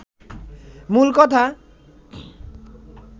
মূল কথা